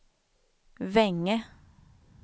Vänge